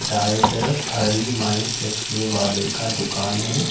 दाएं तरफ हरिमाई चश्मे वाले का दुकान है।